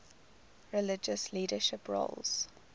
religious leadership roles